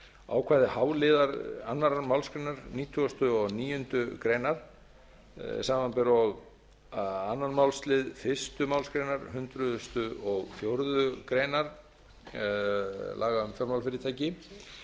ákvæði h liðar annarrar málsgreinar nítugasta og níundu grein samanber og öðrum málslið fyrstu málsgrein hundrað og fjórðu grein laga um fjármálafyrirtæki